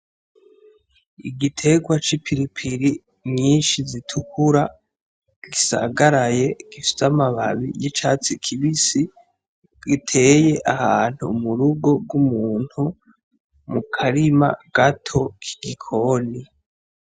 Igitegwa c'ipiripiri nyinshi zitukura gisagaraye gifise amababi y'icatsi kibisi, giteye ahantu mu rugo rw'umuntu mu karima gato k'igikoni.